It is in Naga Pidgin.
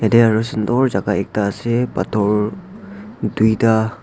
ite aru sundor jaga ekta ase pathor duita.